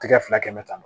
Tigɛ fila kɛmɛ tan